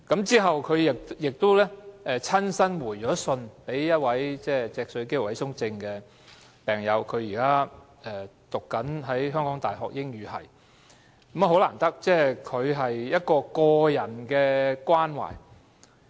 之後，她亦親自回信給一位脊髓肌肉萎縮症病友，該病友現於香港大學英語系學習，難得的是她作出個人關懷。